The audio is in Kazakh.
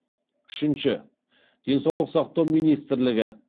үшінші денсаулық сақтау министрлігі